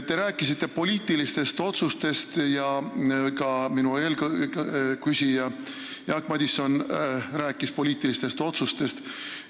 Te rääkisite poliitilistest otsustest ja ka eelküsija Jaak Madison rääkis poliitilistest otsustest.